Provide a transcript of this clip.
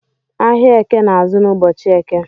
Ahiạ Eke na-azụ n’ ụbọchi Eke